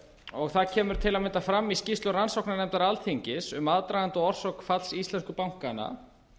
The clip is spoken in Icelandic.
og það kemur til að mynda fram í skýrslu rannsóknarnefndar alþingis um aðdraganda og orsök falls íslensku bankanna